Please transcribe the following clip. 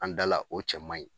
An dala o cɛ man ɲi